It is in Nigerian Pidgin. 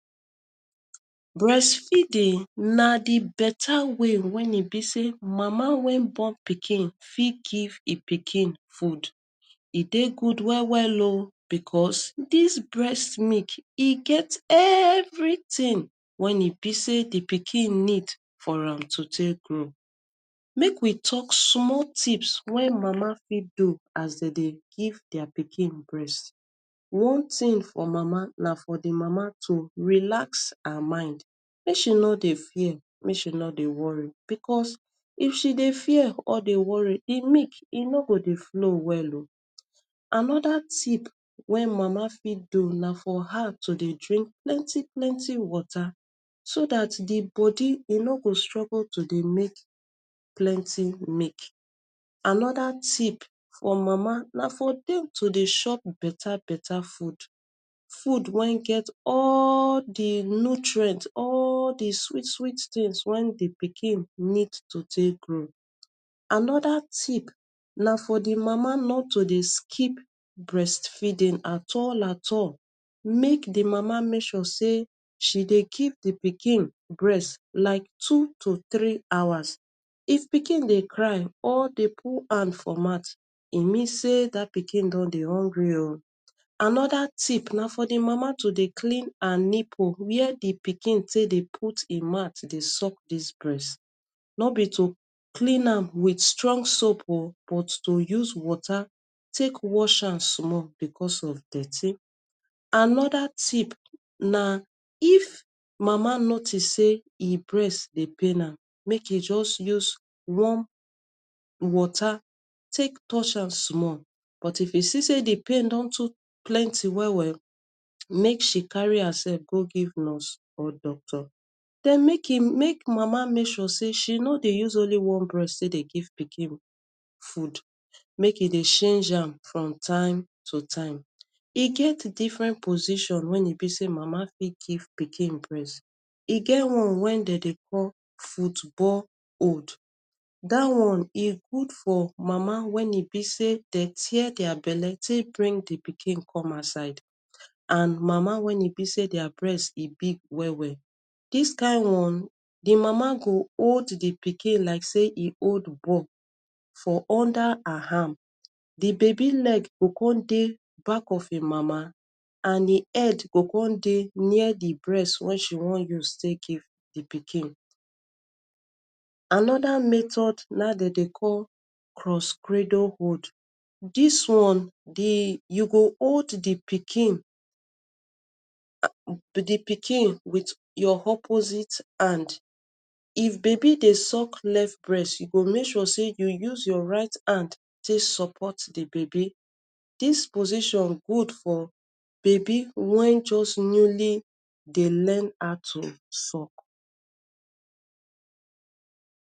breastfeeding na di better way wen e be say mama wen born pikin fit give ea pikin food e dey good well well o becos dis breast meek e get everitin wen e be say di pikin need for am to take grow make we talk small tips wen mama fit do as dey dey give dia pikin breast one tin for mama na for di mama to relax her mind make she no dey fear make she no dey worry becos if she dey fear or dey worry em meek e no go dey flow well o anoda tips wen mama fit do na for her to dey drink plenty plenty water so that di bodi e no go struggle to dey make plenty meek another tips for mama na for dem to dey shop beta beta food, food wen get all di nutrients all the sweet sweet tins wen di pikin need to take grow another tips na for di mama not to dey skip breastfeeding at all at all make di mama make sure say she dey give di pikin breast like two to three hours if pikin dey cry or dey put han for mouth e means say dat pikin don dey hungry o, another tips na for di mama to dey clean her nipple were di pikin take dey put e mouth suck dis breast no be to clean am wit strong soap o but to use water take wash am small becos of dirty, another tips na if mama notice say e breast dey pain am make e just use warm water take touch am small but e fit see say di pain don too plenty well well make she carry herself go give nurse or doctor den make e make mama make sure say she no dey use only one breast take dey give pikin food make e dey shange am from time to time e get different positions wen e be say mama fit give pikin breast e get one way dem dey call football old dat one e good for mama wen e be say dey tear their belle take bring di pikin come outside and mama wen e be say their breast e big well well dis kin one di mama go old di pikin like say e old ball for under her arm di baby leg go come dey back of him mama and e head go come dey near di breast wen she wan use take give e pikin another method na dey dey call cross credol old dis one di you go old di pikin and di pikin with your opposite hand if baby dey suck left breast you go make sure say you use your right hand take support di baby dis position good for baby wen just newly dey learn how to suck